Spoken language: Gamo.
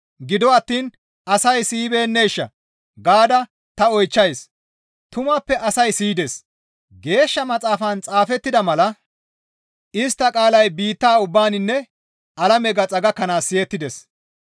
Gido attiin asay siyibeenneeshaa? gaada ta oychchays; tumappe asay siyides; Geeshsha Maxaafan xaafettida mala, «Istta qaalay biitta ubbaaninne alame gaxa gakkanaas siyettdes.»